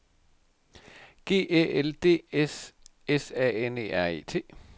G Æ L D S S A N E R E T